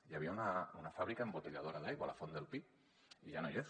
hi havia una fàbrica embotelladora d’aigua la font del pi i ja no hi és